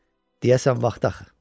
Deyəsən vaxtı axı.